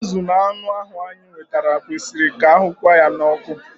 Azụ na anụ ndị ahu anyị nwetara kwesịrị ka ahụnyekwa ha n'oku